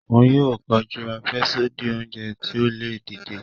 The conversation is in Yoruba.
Òún yóò kọjú afẹsodi oúnjẹ ti o le dìde.